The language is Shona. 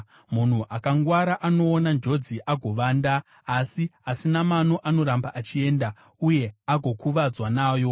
Munhu akangwara anoona njodzi agovanda, asi asina mano anoramba achienda uye agokuvadzwa nayo.